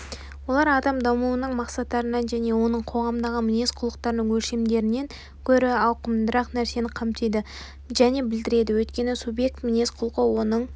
олар адам дамуының мақсаттарынан және оның қоғамдағы мінез-құлықтарының өлшемдерінен гөрі ауқымдырақ нәрсені қамтиды және білдіреді өйткені субъект мінез-құлқы оның